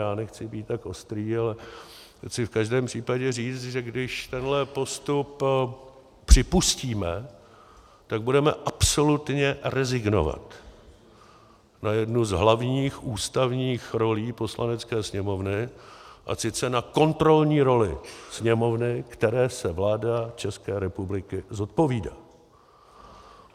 Já nechci být tak ostrý, ale chci v každém případě říct, že když tenhle postup připustíme, tak budeme absolutně rezignovat na jednu z hlavních ústavních rolí Poslanecké sněmovny, a sice na kontrolní roli Sněmovny, které se vláda České republiky zodpovídá.